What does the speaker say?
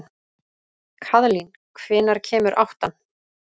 Kaðlín, hvenær kemur áttan?